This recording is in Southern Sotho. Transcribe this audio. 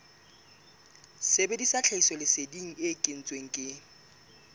sebedisa tlhahisoleseding e kentsweng ke